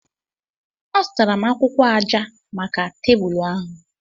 Azụtara m akwụkwọ aja maka tebụl ahu.